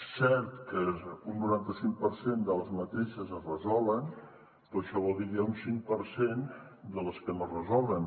és cert que un noranta cinc per cent d’aquestes es resolen però això vol dir que n’hi ha un cinc per cent que no es resolen